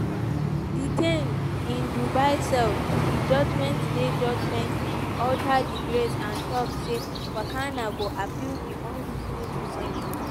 detained in dubai call di judgement di judgement "utter disgrace" and tok say fakana go appeal di "unreasonable" sen ten ce.